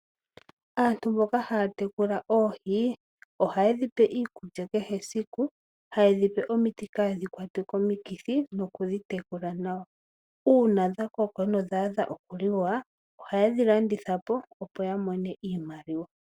Aantu mboka haya tekula oohi ohaye dhi pe iikulya kehe esiku haye dhi pe omiti kadhi kwatwe komikithi nokudhi tekula nawa uuna dha koka nodha adha okuliwa ohaye dhi landitha po, opo ya mone iimaliwa.